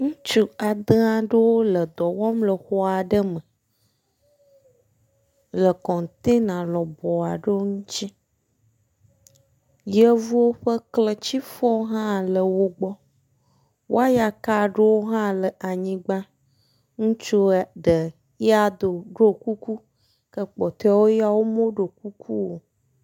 Ŋutsu ade aɖewo le dɔ wɔm le xɔ aɖe me le kɔntena lɔbɔ aɖewo ŋuti. Yevuwo ƒe kletifɔ hã le wo gbɔ, way aka aɖewo hã le anyigba. Ŋutsua ɖe, ya hã do ɖɔ kuku ke kpɔtɔewo ya meɖo kuku o.